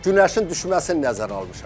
Günəşin düşməsini nəzərə almışam.